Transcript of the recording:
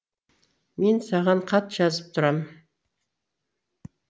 мен саған хат жазып тұрам